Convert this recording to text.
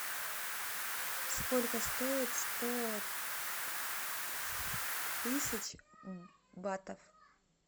сколько стоит сто тысяч батов